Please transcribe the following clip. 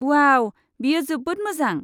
अवाउ! बेयो जोबोद मोजां।